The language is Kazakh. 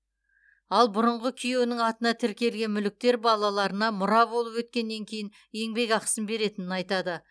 ал бұрынғы күйеуінің атына тіркелген мүліктер балаларына мұра болып өткеннен кейін еңбекақысын беретінін айтады